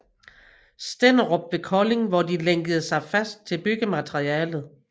Stenderup ved Kolding hvor de lænkede sig fast til byggemateriellet